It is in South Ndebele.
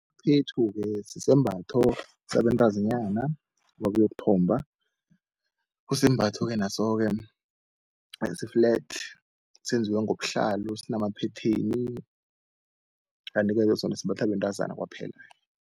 ke sisembatho sabentazinyana babuyokuthomba, kusisembatho-ke naso-ke esi-flat senziwe ngobuhlalo, sinamaphetheni. Kantike-ke sona simbathwa bentazana kwaphela.